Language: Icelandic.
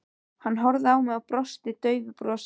Hann horfði á mig og brosti daufu brosi.